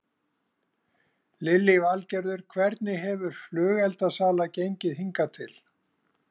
Lillý Valgerður: Hvernig hefur flugeldasala gengið hingað til?